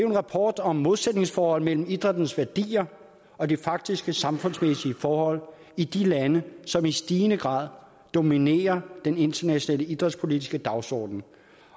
en rapport om modsætningsforhold mellem idrættens værdier og de faktiske samfundsmæssige forhold i de lande som i stigende grad dominerer den internationale idrætspolitiske dagsorden